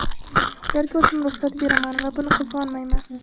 Ularga o‘zim ruxsat beraman va buni qizg‘onmayman.